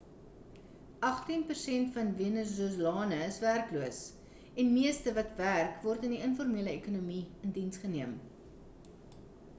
agtien persent van venezolane is werkloos en meeste wat werk word in die informele ekonomie in diens geneem